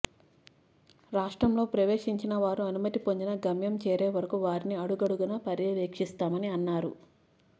రాష్ట్రంలో ప్రవేశించిన వారు అనుమతి పొందినా గమ్యం చేరేవరకు వారిని అడుగడుగునా పర్యవేక్షిస్తామని అన్నారు